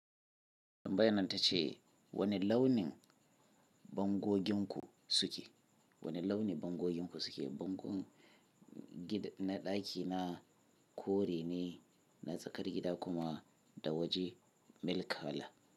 Tambayan ta ce, wane launin bangoginku suke. Wane launin bangoginku suke? Bangon gida na ɗaki na kore ne, na tsakar gida kuma da waje milk kala.